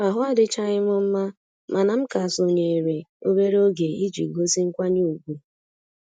Ahụ adịchaghị m mma mana m ka sonyeere obere oge iji gosi nkwanye ùgwù